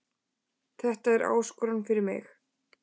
Þetta er áskorun fyrir mig